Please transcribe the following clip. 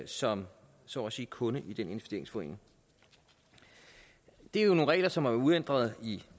som så at sige kunde i den investeringsforening det er nogle regler som har været uændrede i